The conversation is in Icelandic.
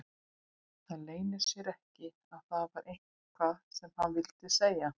Það leyndi sér ekki að það var eitthvað sem hann vildi segja.